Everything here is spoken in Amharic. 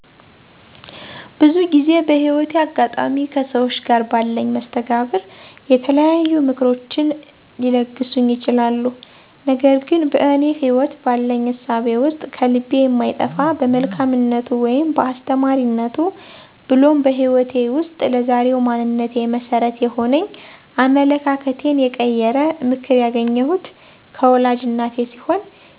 ብዙ ጊዜ በህይወቴ አጋጣሚ ከሠዎች ጋር ባለኝ መስተጋብር የተለያዩ ምክሮችን ሊለግሱኝ ይችላሉ። ነገር ግን በእኔ ህይወት ባለኝ እሳቤ ውስጥ ከልቤ የማይጠፋ በመልካምነቱ ወይም በአስተማሪነቱ ብሎም በህይወቴ ውስጥ ለዛሬው ማንነቴ መሠረት የሆነኝ አመለካከቴን የቀየረ ምክር ያገኘሁት ከወላጅ እናቴ ሲሆን